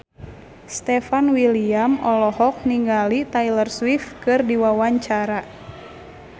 Stefan William olohok ningali Taylor Swift keur diwawancara